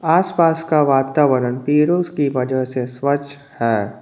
आसपास का वातावरण पेरो की वजह से स्वच्छ है।